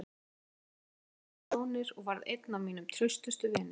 Hann kom mér ákaflega vel fyrir sjónir og varð einn af mínum traustustu vinum.